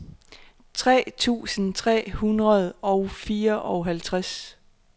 tres tusind tre hundrede og fireoghalvtreds